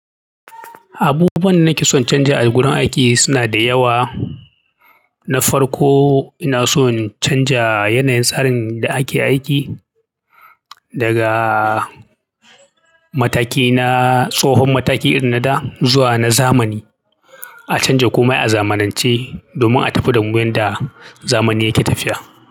Abubuwan da nake son canja a gurin aiki suna da yawa. Na farko ina son canja yanayin tsarin da ake aiki daga mataki na tsohon mataki irin na da zuwa na zamani. A canja komai a zamanance domin a tafi damu.